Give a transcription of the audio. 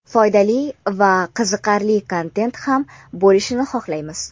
foydali va qiziqarli kontent ham bo‘lishini xohlaymiz.